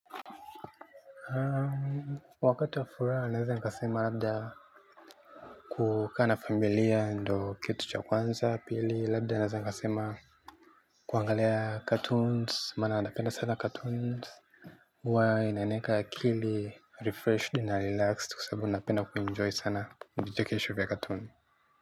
Wakati wa furaha naweza nikasema labda kukaa na familia ndo kitu cha kwanza, pili labda naweza nikasema kuangalia 'cartoons' mana napenda sana 'cartoons' huwa inaniweka akili 'refreshed' na 'relaxed' kwasababu napenda kuenjoy sana vichekesho vya 'cartoons'.